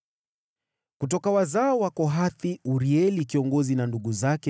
Kutoka wazao wa Kohathi, Urieli kiongozi na ndugu zake 120,